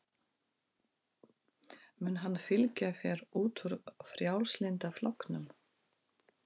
Mun hann fylgja þér út úr Frjálslynda flokknum?